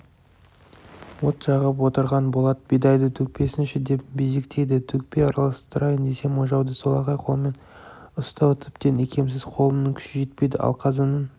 от жағып отырған болат бидайды төкпесеңші деп безектейді төкпей араластырайын десем ожауды солақай қолмен ұстау тіптен икемсіз қолымның күші жетпейді ал қазанның